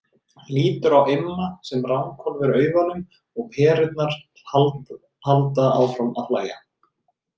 Lítur á Imma sem ranghvolfir augunum og Perurnar halda áfram að hlæja.